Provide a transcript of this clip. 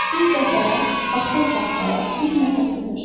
Bir dəfə, bax bu otaqda Billlə oturmuşduq.